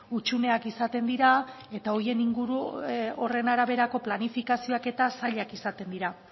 hutsuneak izaten dira eta horien inguru horren araberako planifikazioak eta zailak izaten dira